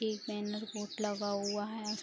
एक banner board लगा हुआ है।